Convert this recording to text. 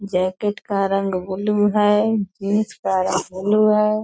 Jacket का रंग blue है जीन्स का रंग ब्लू है।